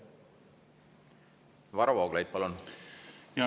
Varro Vooglaid, palun!